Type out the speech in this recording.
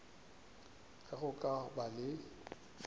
ge go ka ba le